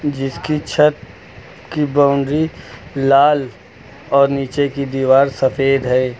जिसकी छत की बाउंड्री लाल और नीचे की दीवार सफेद है।